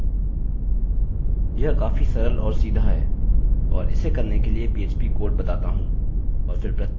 यह काफी सरल और सीधा है और इसे करने के लिए php कोड बताता हूँ